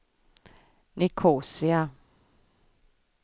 Nicosia